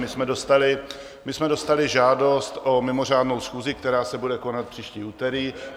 My jsme dostali žádost o mimořádnou schůzi, která se bude konat příští úterý.